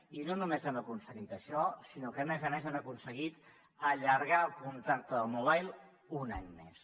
i no no només hem aconseguit això sinó que a més a més hem aconseguit allargar el contacte del mobile un any més